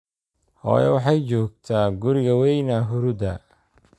Hooyo waxay joogtaa guriga weeyna hurudaa